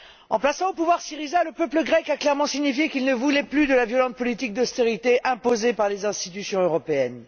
En plaçant au pouvoir Syriza, le peuple grec a clairement signifié qu'il ne voulait plus de la violente politique d'austérité imposée par les institutions européennes.